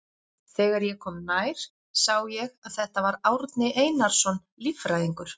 Þegar ég kom nær sá ég að þetta var Árni Einarsson líffræðingur.